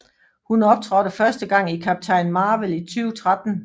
Hun optrådte første gang i Captain Marvel i 2013